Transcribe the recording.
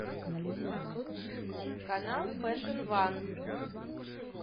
канал фэшн ван